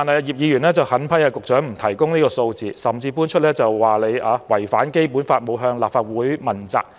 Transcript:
葉議員狠批局長不提供有關數字，甚至說局長違反《基本法》，沒有向立法會負責。